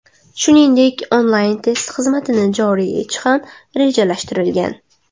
Shuningdek, onlayn-test xizmatini joriy etish ham rejalashtirilgan.